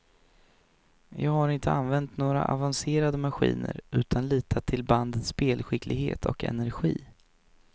Jag har inte använt några avancerade maskiner utan litat till bandets spelskicklighet och energi.